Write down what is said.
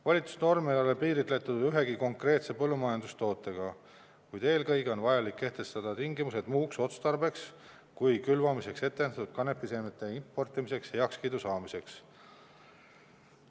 Volitusnorm ei ole piiritletud ühegi konkreetse põllumajandustootega, kuid eelkõige on vajalik kehtestada tingimused muuks otstarbeks kui külvamiseks ette nähtud kanepiseemnete importimiseks heakskiidu saamiseks.